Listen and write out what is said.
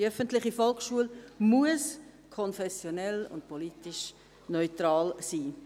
Die öffentliche Volksschule muss konfessionell und politisch neutral sein.